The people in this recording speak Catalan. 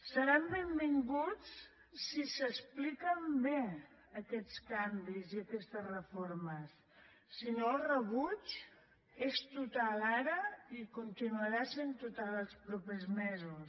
seran benvinguts si s’expliquen bé aquests canvis i aquestes reformes si no el rebuig és total ara i continuarà sent total els propers mesos